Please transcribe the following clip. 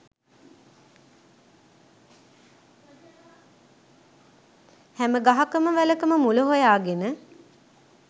හෑම ගහකම වැලකම මුල හොයාගෙන